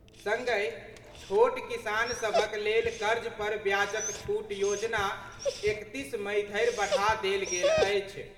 संगहि, छोट किसान सभक लेल कर्ज पर ब्याजक छूट योजना एकतीस मई धरि बढ़ा देल गेल अछि।